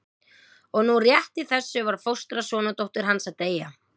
Og nú rétt í þessu var fóstra sonardóttur hans að deyja.